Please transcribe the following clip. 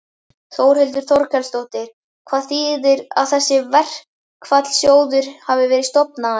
Þórhildur Þorkelsdóttir: Hvað þýðir að þessi verkfallssjóður hafi verið stofnaður?